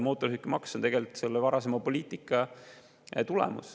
Mootorsõidukimaks on tegelikult selle varasema poliitika tulemus.